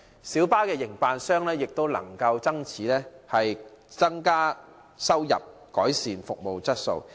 小巴的營辦商也能因此增加收入，有望改善服務質素。